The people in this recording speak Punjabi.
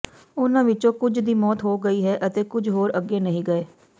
ਉਨ੍ਹਾਂ ਵਿਚੋਂ ਕੁਝ ਦੀ ਮੌਤ ਹੋ ਗਈ ਅਤੇ ਕੁਝ ਹੋਰ ਅੱਗੇ ਨਹੀਂ ਗਏ